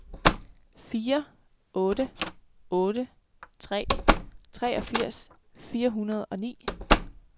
fire otte otte tre treogfirs fire hundrede og ni